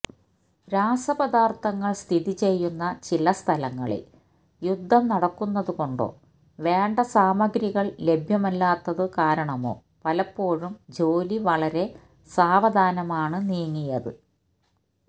രാസപദാര്ത്ഥങ്ങൾ സ്ഥിതി ചെയ്യുന്ന ചില സ്ഥലങ്ങളിൽ യുദ്ധം നടക്കുന്നതുകൊണ്ടോ വേണ്ട സാമഗ്രികൾ ലഭ്യമല്ലാത്തതുകാരണമോ പലപ്പോഴും ജോലി വളരെ സാവധാനമാണ് നീങ്ങിയത്